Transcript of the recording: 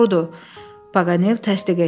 Paqanel təsdiq etdi.